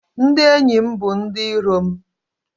Ndị enyi m bụ ndị iro m